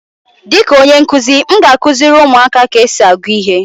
Dịka onye nkuzi, m ga-akụziri ụmụaka ka esi agụ ihe.